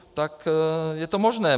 Tak je to možné.